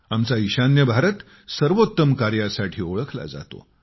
आमचा ईशान्य भारत सर्वोत्तम कार्यासाठी ओळखला जातो